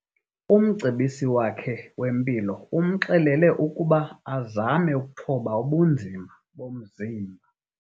Umcebisi wakhe wempilo umxelele ukuba azame ukuthoba ubunzima bomzimba.